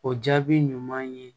O jaabi ɲuman ye